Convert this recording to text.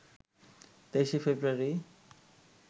২৩ ফেব্রুয়ারি